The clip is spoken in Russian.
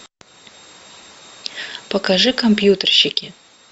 покажи компьютерщики